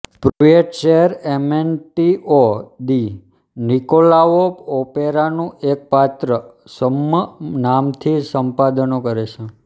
પ્રુઇટ સેર એમેન્ટીઓ દી નિકોલાઓ ઓપેરાનું એક પાત્ર છદ્મ નામથી સંપાદનો કરે છે